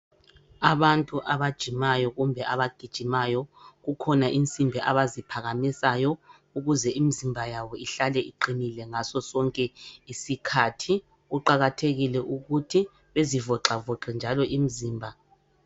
Abantu abajimayo kumbe abagijimayo kukhona insimbi abaziphakamisayo ukuze imizimba yabo ihlale iqinile ngaso sonke isikhathi kuqakathekile ukuthi bezivoxavoxe njalo imzimba.